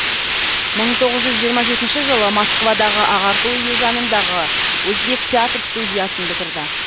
мың тоғыз жүз жиырма жетінші жылы москвадағы ағарту үйі жанындағы өзбек театр студиясын бітірді